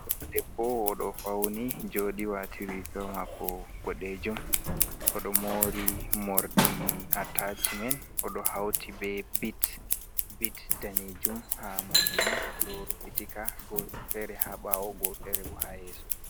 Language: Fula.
Ɗodebbo odo fauni joɗi wati riga mako boɗejum, oɗo mori morɗi atacmen o ɗo hauti be bit bit danejum ha morɗi man, oɗo rufitika go fere ha ɓawo go fere bo ha yeso.